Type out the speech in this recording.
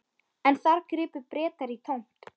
En þar gripu Bretar í tómt.